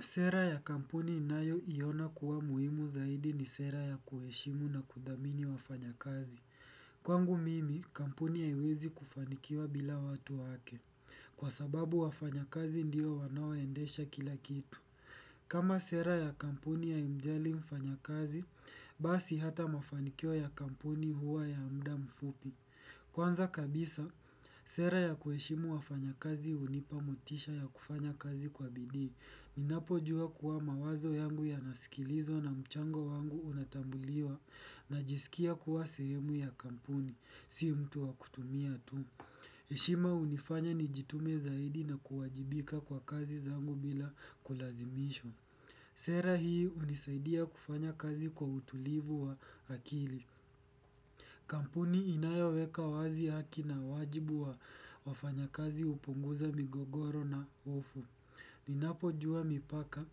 Sera ya kampuni inayo iona kuwa muhimu zaidi ni sera ya kuheshimu na kudhamini wafanya kazi. Kwangu mimi, kampuni haiwezi kufanikiwa bila watu wake. Kwa sababu wafanya kazi ndiyo wanao endesha kila kitu. Kama sera ya kampuni ya haimjali mfanya kazi, basi hata mafanikio ya kampuni huwa ya mda mfupi. Kwanza kabisa, sera ya kuheshimu wafanya kazi hunipa mutisha ya kufanya kazi kwa bidii. Ninapo jua kuwa mawazo yangu yanasikilizwa na mchango wangu unatambuliwa na jisikia kuwa sehemu ya kampuni, si mtu wa kutumia tu. Heshima hunifanya nijitume zaidi na kuwajibika kwa kazi zangu bila kulazimishwa Sera hii hunisaidia kufanya kazi kwa utulivu wa akili. Kampuni inayo weka wazi haki na wajibu wa wafanya kazi upunguza migogoro na hofu. Ni napo jua mipaka,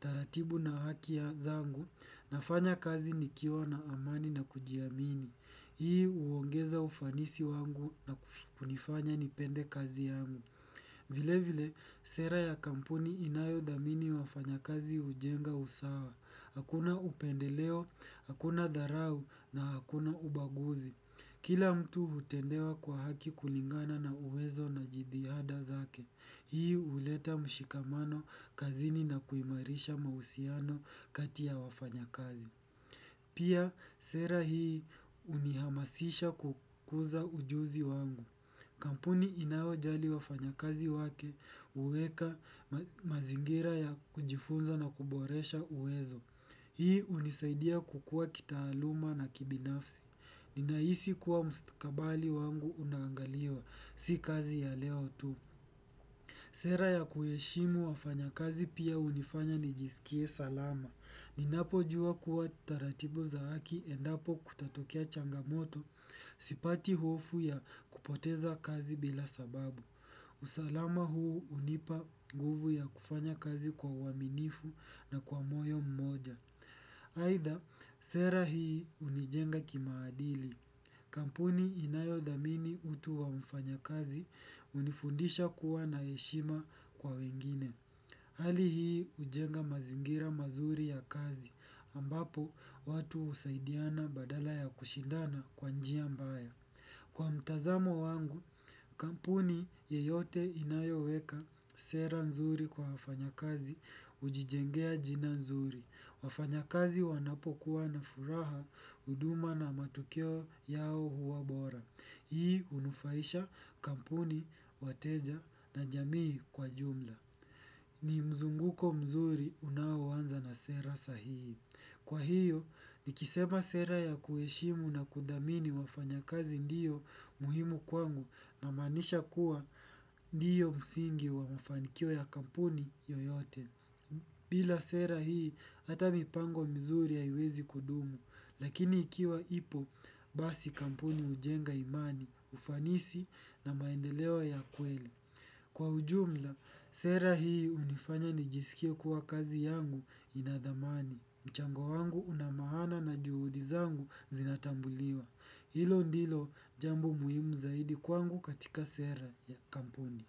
taratibu na haki zangu, nafanya kazi nikiwa na amani na kujiamini. Hii huongeza ufanisi wangu na kunifanya nipende kazi yangu. Vile vile, sera ya kampuni inayo dhamini wafanyakazi hujenga usawa. Hakuna upendeleo, hakuna dharau na hakuna ubaguzi. Kila mtu hutendewa kwa haki kulingana na uwezo na jitihada zake. Hii huleta mshikamano kazini na kuimarisha mahusiano kati ya wafanyakazi. Pia, sera hii unihamasisha kukuza ujuzi wangu. Kampuni inayo jali wafanya kazi wake uhuweka mazingira ya kujifunza na kuboresha uwezo. Hii hunisaidia kukua kitaaluma na kibinafsi. Ninahisi kuwa mstakabali wangu unaangaliwa. Si kazi ya leo tu. Sera ya kuheshimu wafanya kazi pia hunifanya nijisikie salama. Ninapo jua kuwa taratibu za haki endapo kutatokea changamoto sipati hofu ya kupoteza kazi bila sababu. Usalama huu hunipa nguvu ya kufanya kazi kwa uaminifu na kwa moyo mmoja. Aidha, sera hii hunijenga kimaadili. Kampuni inayo dhamini utu wa mfanya kazi hunifundisha kuwa na heshima kwa wengine. Hali hii hujenga mazingira mazuri ya kazi ambapo watu husaidiana badala ya kushindana kwa njia mbaya. Kwa mtazamo wangu, kampuni yeyote inayoweka sera nzuri kwa wafanyakazi hujijengea jina nzuri. Wafanyakazi wanapokuwa na furaha, huduma na matokio yao huwabora. Hii hunufaisha kampuni, wateja na jamii kwa jumla. Ni mzunguko mzuri unaoanza na sera sahihi. Kwa hiyo, nikisema sera ya kuheshimu na kudhamini wafanya kazi ndio muhimu kwangu na maanisha kuwa ndio msingi wa mafanikio ya kampuni yoyote. Bila sera hii, ata mipango mizuri haiwezi kudumu, lakini ikiwa ipo basi kampuni hujenga imani, ufanisi na maendelewa ya kweli. Kwa ujumla, sera hii hunifanya nijisikie kuwa kazi yangu inadhamani. Mchango wangu unamahana na juudizangu zinatambuliwa. Hilo ndilo jambo muhimu zaidi kwangu katika sera ya kampuni.